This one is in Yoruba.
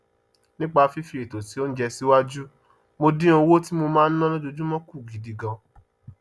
nípa fífi ètò sí oúnjẹ síwájú mo dín owó tí mo máa ná lójoojúmọ kù gidi gan